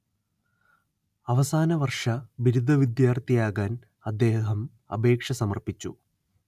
അവസാനവർഷ ബിരുദ വിദ്യാർത്ഥിയാകാൻ അദ്ദേഹം അപേക്ഷ സമർപ്പിച്ചു